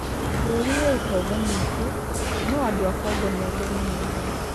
Bũrũri wĩ ũtonga mũingĩ, no andũ a Congo nĩ athĩni mũno.